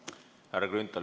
Härra Grünthal!